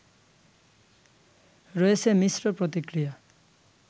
রয়েছে মিশ্র প্রতিক্রিয়া